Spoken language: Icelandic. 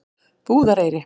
Búðareyri